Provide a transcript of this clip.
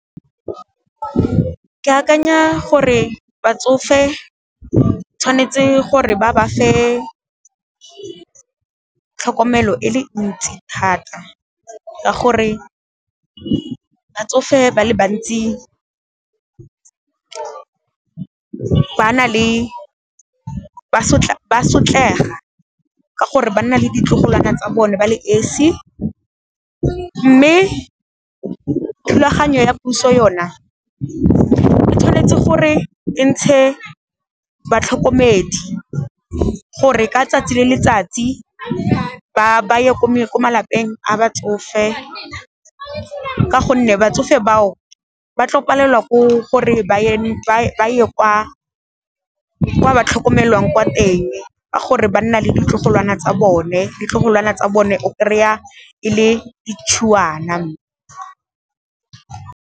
Ke akanya gore batsofe tshwanetse gore ba ba fe tlhokomelo e le ntsi thata ka gore, batsofe ba le bantsi ba sotlega ka gore ba nna le ditlogolwana tsa bone ba le esi, mme thulaganyo ya puso yona o tshwanetse gore e ntshe batlhokomedi gore ka 'tsatsi le letsatsi ba ye ko malapeng a batsofe ka gonne, batsofe bao ba tlo palelwa ko gore [?? ba ye kwa ba tlhokomelwang kwa teng ka gore ba nna le ditlogolwana tsa bone, ditlogolwana tsa bone o kry-a e le ditšhuwana.